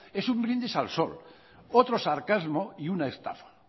es un brindis al sol otro sarcasmo y una estafa